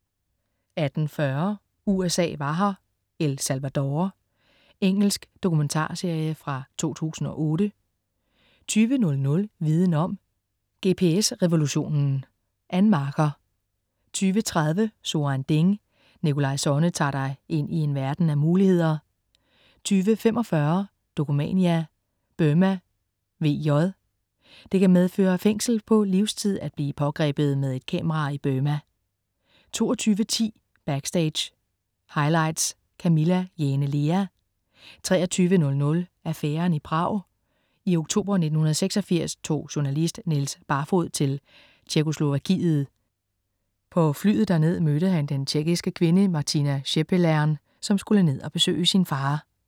18.40 USA var her. El Salvador. Engelsk dokumentarserie fra 2008 20.00 Viden om: GPS revolutionen. Ann Marker 20.30 So ein Ding. Nikolaj Sonne tager dig ind i en verden af muligheder 20.45 Dokumania: Burma VJ. Det kan medføre fængsel på livstid at blive pågrebet med et kamera i Burma 22.10 Backstage: Highlights. Camilla Jane Lea 23.00 Affæren i Prag. I oktober 1986 tog journalist Niels Barfoed til Tjekkoslovakiet. På flyet derned mødte han den tjekkiske kvinde Martina Schepelern, som skulle ned og besøge sin far